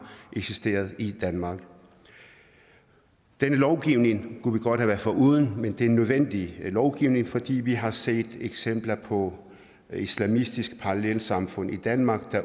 eksisteret i danmark denne lovgivning kunne vi godt have været foruden men det er en nødvendig lovgivning fordi vi har set eksempler på islamistiske parallelsamfund i danmark